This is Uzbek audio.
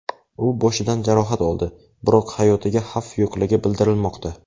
U boshidan jarohat oldi, biroq hayotiga xavf yo‘qligi bildirilmoqda.